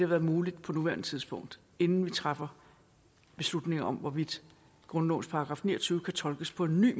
været muligt på nuværende tidspunkt inden vi træffer beslutning om hvorvidt grundlovens § ni og tyve kan tolkes på en ny